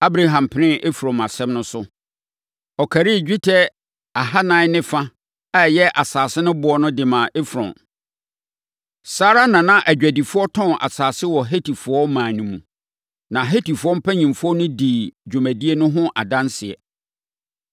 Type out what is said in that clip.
Abraham penee Efron asɛm no so. Ɔkarii dwetɛ kilogram ɛnan ne fa a ɛyɛ asase no boɔ de maa Efron. Saa ara na na adwadifoɔ tɔn asase wɔ Hetifoɔ ɔman mu, na Hetifoɔ mpanimfoɔ no dii dwumadie no ho adanseɛ.